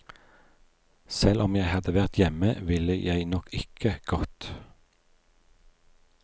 Selv om jeg hadde vært hjemme, ville jeg nok ikke gått.